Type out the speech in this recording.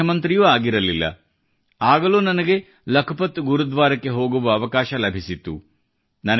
ನಾನು ಮುಖ್ಯಮಂತ್ರಿಯೂ ಆಗಿರಲಿಲ್ಲ ಆಗಲೂ ನನಗೆ ಲಖಪತ್ ಗುರುದ್ವಾರಕ್ಕೆ ಹೋಗುವ ಅವಕಾಶ ಲಭಿಸಿತ್ತು